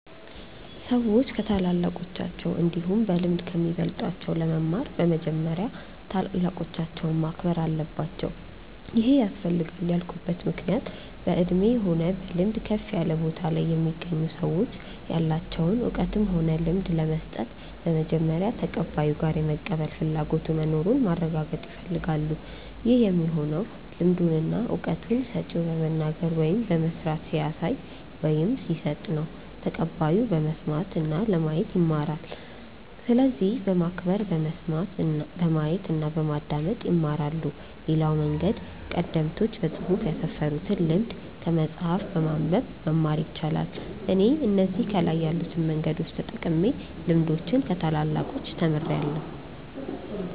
ሰዎች ከታላላቆቻቸው እንዲሁም በልምድ ከሚበልጧቸው ለመማር በመጀመሪያ ታላላቆቻቸውን ማክበር አለባቸው ይሄ ያስፈልጋል ያልኩበት ምክንያት በእድሜ ሆነ በልምድ ከፍ ያለ ቦታ ላይ የሚገኙ ሰዎች ያላቸውን እውቀትም ሆነ ልምድ ለመስጠት በመጀመሪያ ተቀባዩ ጋር የመቀበል ፍላጎቱ መኑሩን ማረጋገጥ ይፈልጋሉ ይህ የሚሆነው ልምዱን እና እውቀቱን ሰጪው በመናገር ወይም በመስራት ሲያሳይ ወይም ሲሰጥ ነው ተቀባዩ በመስማት እና ለማየት ይማራል። ስለዚህ በማክበር በመስማት፣ በማየት እና በማዳመጥ ይማራሉ። ሌላው መንገድ ቀደምቶች በፅሁፍ ያስፈሩትን ልምድ ከመጽሐፍ በማንበብ መማር ይቻላል። እኔ እነዚህ ከላይ ያሉትን መንገዶች ተጠቅሜ ልምዶችን ከታላላቆቻች ተምርያለው።